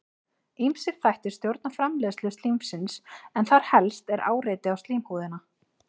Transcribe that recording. ýmsir þættir stjórna framleiðslu slímsins en þar helst er áreiti á slímhúðina